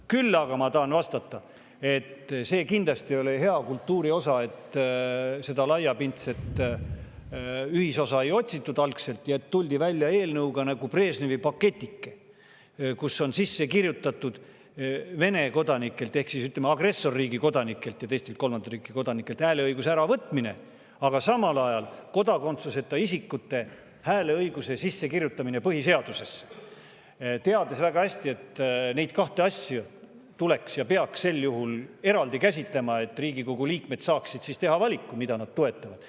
Küll aga tahan ma vastata, et see kindlasti ei ole hea kultuuri osa, et laiapindset ühisosa algselt ei otsitud ja tuldi välja eelnõuga nagu Brežnevi pakike, kuhu on sisse kirjutatud Vene kodanikelt ehk agressorriigi kodanikelt ja teistelt kolmandate riikide kodanikelt hääleõiguse äravõtmine, aga samal ajal ka kodakondsuseta isikute hääleõiguse sissekirjutamine põhiseadusesse, teades väga hästi, et neid kahte asja peaks sel juhul eraldi käsitlema, et Riigikogu liikmed saaksid teha valiku, mida nad toetavad.